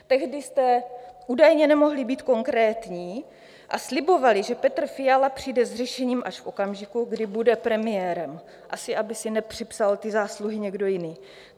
Tehdy jste údajně nemohli být konkrétní a slibovali, že Petr Fiala přijde s řešením až v okamžiku, kdy bude premiérem, asi aby si nepřipsal ty zásluhy někdo jiný.